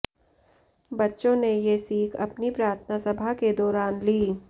बच्चों ने ये सीख अपनी प्रार्थना सभा के दौरान ली